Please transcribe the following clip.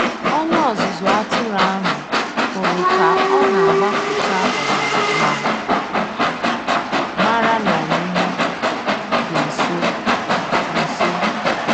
Onye ọzụzụ atụrụ ahụ hụrụ ka ọ na-agbapụta ọbara ma mara na ọmụmụ dị nso. nso.